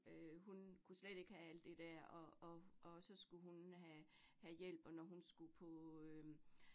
Øh hun kunne slet ikke have alt det der, og og og så skulle hun have have hjælp, og når hun skulle på øh